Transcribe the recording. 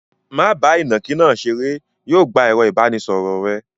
Má bá ìnàkí náà ṣeré. Yóò gbà ẹ̀rọ-ìbánisọ̀rọ̀ rẹ.